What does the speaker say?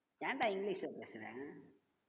ஏன்டா english ல பேசற